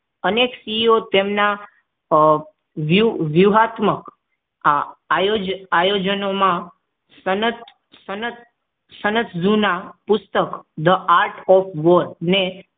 અનેક CEO તેમના વિયું વિયુંહતક આયોજ આયોજનોમાં સનત સનત જૂના પુસ્તક The Heart of the War અને